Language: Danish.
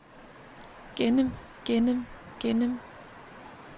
gennem gennem gennem